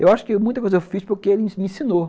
Eu acho que muita coisa eu fiz porque ele me ensinou.